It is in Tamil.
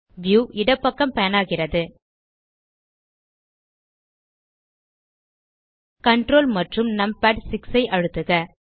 வியூ இடப்பக்கம் பான் ஆகிறது ctrl மற்றும் நம்பாட்6 ஐ அழுத்துக